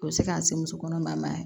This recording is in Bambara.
O bɛ se k'an se muso kɔnɔma ma yan